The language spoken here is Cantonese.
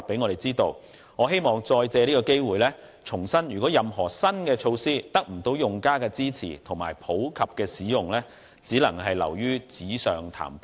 我希望藉着今次機會重申，任何新的措施如果得不到用家的支持和普及使用，只會流於紙上談兵。